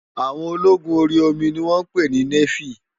Áwòn ólógún óri ómi ni wòn pé ni néfí